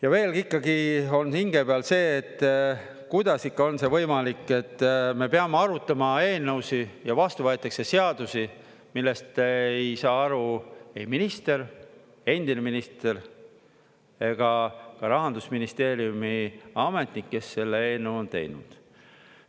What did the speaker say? Ja veel ikkagi on hinge peal see, et kuidas ikka on see võimalik, et me peame arutama eelnõusid ja vastu võetakse seadusi, millest ei saa aru ei minister, endine minister ega Rahandusministeeriumi ametnik, kes selle eelnõu on teinud.